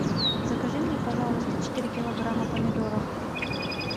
закажи мне пожалуйста четыре килограмма помидоров